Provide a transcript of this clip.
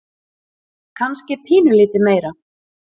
Kannski pínulítið meira.